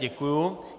Děkuji.